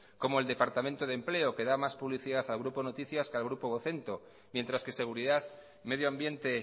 como el departamento de empleo que da más publicidad al grupo noticias que al grupo vocento mientras que seguridad medio ambiente